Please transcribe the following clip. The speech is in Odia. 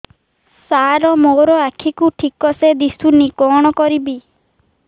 ସାର ମୋର ଆଖି କୁ ଠିକସେ ଦିଶୁନି କଣ କରିବି